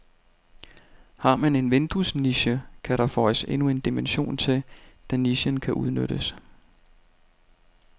Har man en vinduesniche, kan der føjes endnu en dimension til, da nichen kan udnyttes.